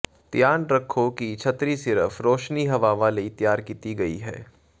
ਧਿਆਨ ਰੱਖੋ ਕਿ ਛਤਰੀ ਸਿਰਫ ਰੌਸ਼ਨੀ ਹਵਾਵਾਂ ਲਈ ਤਿਆਰ ਕੀਤੀ ਗਈ ਹੈ